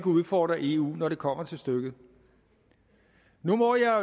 udfordre eu når det kommer til stykket nu må jeg